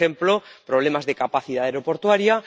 por ejemplo, problemas de capacidad aeroportuaria.